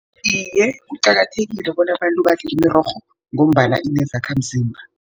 Iye, kuqakathekile bona abantu badle imirorho, ngombana inezakhamzimba.